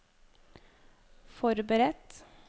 forberedt